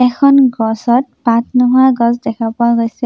এখন গছত পাত নোহোৱা গছ দেখা পোৱা গৈছে।